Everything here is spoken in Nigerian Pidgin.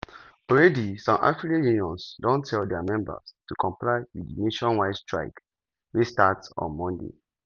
di strike wey di organized labour for nigeria declare don take effect as dem bin announce am on friday.